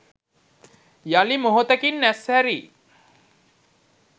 යලි මොහොතකින් ඇස් හැරි